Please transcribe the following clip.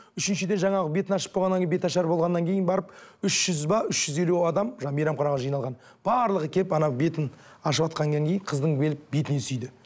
үшіншіден жаңағы бетін ашып болғаннан кейін беташар болғаннан кейін барып үш жүз бе үш жүз елу адам жаңағы мейрамханаға жиналған барлығы келіп ана бетін ашыватқаннан кейін қыздың келіп бетінен сүйді